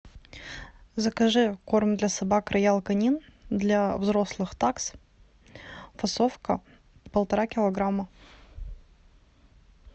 закажи корм для собак роял канин для взрослых такс фасовка полтора килограмма